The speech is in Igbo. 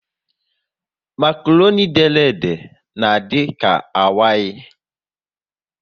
Makroni dere ede na adika awai